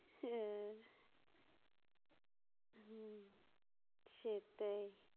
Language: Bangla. হু হুম সেটাই